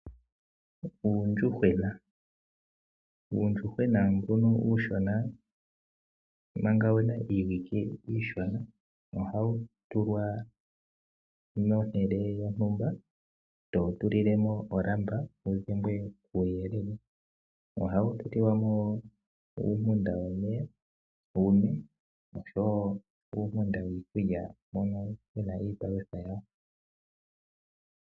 Uuyuhwena Uuyuhwena mbuno uushona manga wu na iiwike iishona ohawu tulwa pehala lyontumba e to wu tulile mo oolamba, opo wu dhengwe kuuyelele. Ohawu tulilwa mo uunima womeya, wu nwe noshowo uunima wiikulya mono mu na iipalutha yawo.